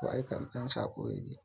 ko aika ɗan saƙo yake.